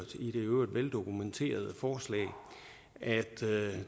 i øvrigt veldokumenterede forslag at